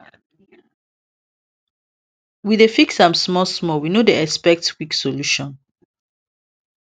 we dey fix am small small we no dey expect quick solution